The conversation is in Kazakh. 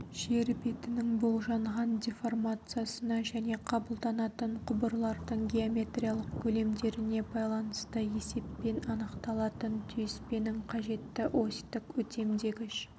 жер бетінің болжанған деформациясына және қабылданатын құбырлардың геометриялық көлемдеріне байланысты есеппен анықталатын түйіспенің қажетті осьтік өтемдегіш